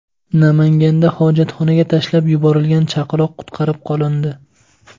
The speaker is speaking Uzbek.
Namanganda hojatxonaga tashlab yuborilgan chaqaloq qutqarib qolindi.